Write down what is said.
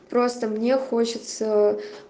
просто мне хочется